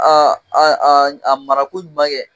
a mara ko ɲuman kɛ